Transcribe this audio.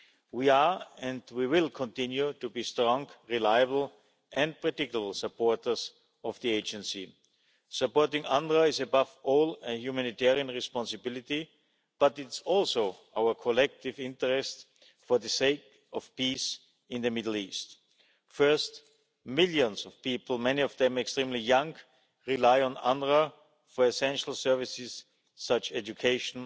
We are, and we will continue to be, strong, reliable, and critical supporters of the Agency. Supporting UNRWA is, above all, a humanitarian responsibility, but it is also in our collective interest for the sake of peace in the Middle East. First, millions of people, many of them extremely young, rely on UNRWA for essential services such as education,